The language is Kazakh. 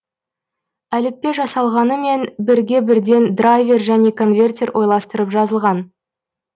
әліппе жасалынғанымен бірге бірден драйвер және конвертер ойластырып жазылған